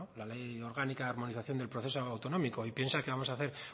la ley orgánica de armonización del proceso autonómico y piensa que vamos a hacer